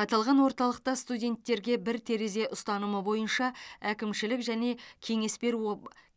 аталған орталықта студенттерге бір терезе ұстанымы бойынша әкімшілік және кеңес беру